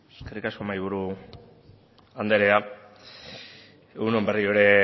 eskerrik asko mahaiburu andrea egun on berriro ere